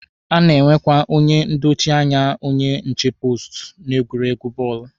A na-enwekwa onye ndochi anya onye nche poostu n'egwuregwu bọọlụ.